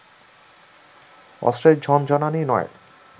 অস্ত্রের ঝনঝনানি নয়